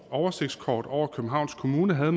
oversigtskort over københavns kommune havde